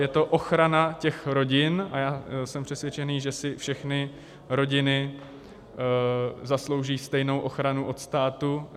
Je to ochrana těch rodin a já jsem přesvědčený, že si všechny rodiny zaslouží stejnou ochranu od státu.